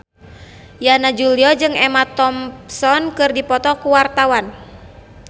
Yana Julio jeung Emma Thompson keur dipoto ku wartawan